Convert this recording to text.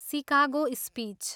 Chicago speech.